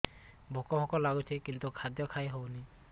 ଭୋକ ଭୋକ ଲାଗୁଛି କିନ୍ତୁ ଖାଦ୍ୟ ଖାଇ ହେଉନି